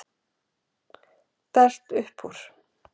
Dælt upp úr